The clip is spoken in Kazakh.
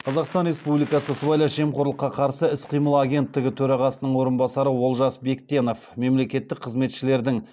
қазақстан республикасының сыбайлас жемқорлыққа қарсы іс қимыл агенттігі төрағасының орынбасары олжас бектенов мемлекеттік қызметшілердің